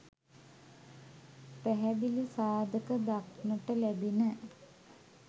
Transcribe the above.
පැහැදිලි සාධක දක්නට ලැබිණ